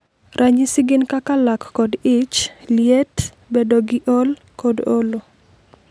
Ranyisi gin kaka lak kod ich, liet, bedo gi ol, kod olo.